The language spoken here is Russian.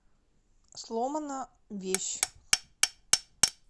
сломана вещь